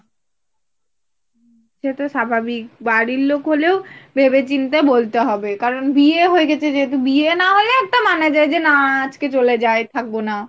সে তো স্বাভাবিক বাড়ি লোক হলেও ভেবে চিনতে বলতে হবে। কারন বিয়ে হয়েগেছে যেহেতু বিয়ে না হলে একটা মানা যায় যে না আজকে চলে যাই থাকবো না।